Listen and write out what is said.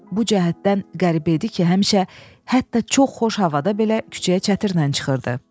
Bu cəhətdən qəribə idi ki, həmişə hətta çox xoş havada belə küçəyə çətirlə çıxırdı.